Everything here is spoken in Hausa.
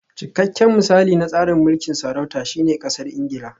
Cikakken misali na tsarin mulkin sarauta shine Ƙasar Ingila